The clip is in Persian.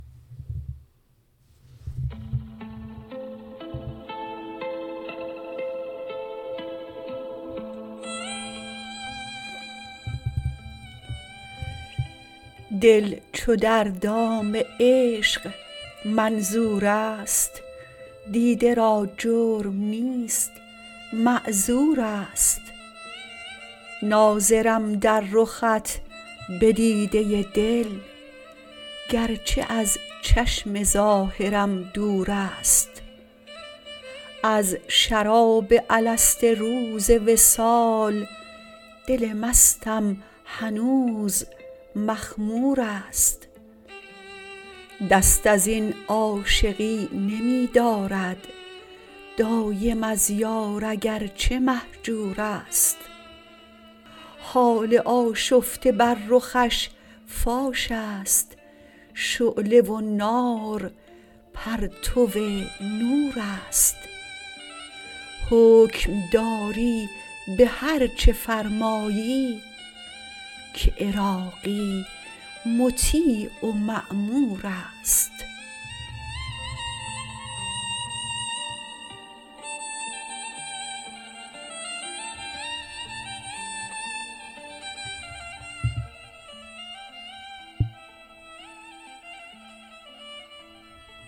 دل چو در دام عشق منظور است دیده را جرم نیست معذور است ناظرم در رخت به دیده دل گرچه از چشم ظاهرم دور است از شراب الست روز وصال دل مستم هنوز مخمور است دست ازین عاشقی نمی دارد دایم از یار اگرچه مهجور است حال آشفته بر رخش فاش است شعله و نار پرتو نور است حکم داری به هر چه فرمایی که عراقی مطیع و مامور است